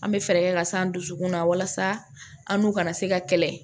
An bɛ fɛɛrɛ kɛ ka san an dusukun na walasa an n'u ka na se ka kɛlɛ